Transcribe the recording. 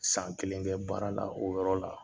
San kelen bɛ baara la o yɔrɔ la